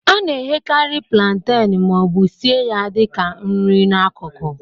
A na-eghekarị plantain ma ọ bụ sie ya dị ka nri n'akụkụ.